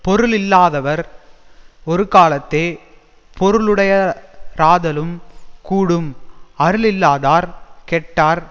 பொருளில்லாதவர் ஒருகாலத்தே பொருளுடையராதலும் கூடும் அருளில்லாதார் கெட்டார்